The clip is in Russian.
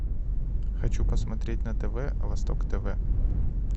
хочу посмотреть на тв восток тв